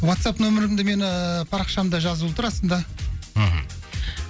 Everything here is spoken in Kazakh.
уатсап нөмірімді мен ііі парақшамда жазылып тұр астында мхм